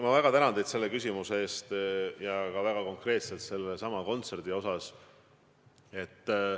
Ma väga tänan teid selle küsimuse eest ja ka konkreetselt sedasama kontserti mainimast.